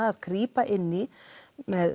að grípa inn í með